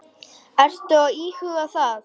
Ertu að íhuga það?